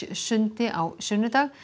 sundi á sunnudag